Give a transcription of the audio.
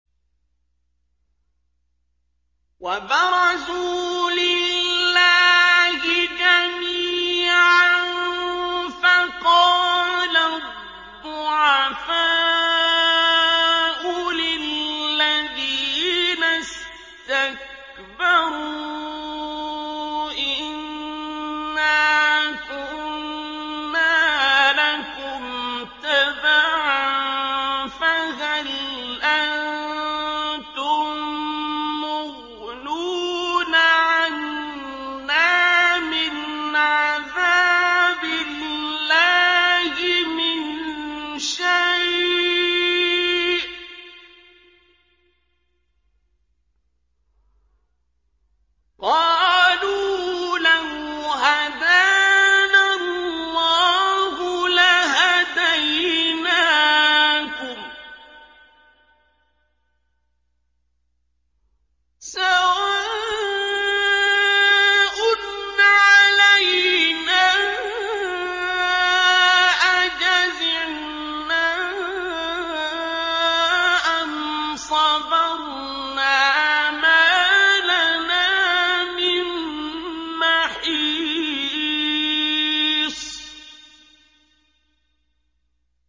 وَبَرَزُوا لِلَّهِ جَمِيعًا فَقَالَ الضُّعَفَاءُ لِلَّذِينَ اسْتَكْبَرُوا إِنَّا كُنَّا لَكُمْ تَبَعًا فَهَلْ أَنتُم مُّغْنُونَ عَنَّا مِنْ عَذَابِ اللَّهِ مِن شَيْءٍ ۚ قَالُوا لَوْ هَدَانَا اللَّهُ لَهَدَيْنَاكُمْ ۖ سَوَاءٌ عَلَيْنَا أَجَزِعْنَا أَمْ صَبَرْنَا مَا لَنَا مِن مَّحِيصٍ